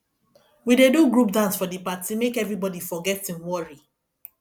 we dey do group dance for di party make everybodi forget im worry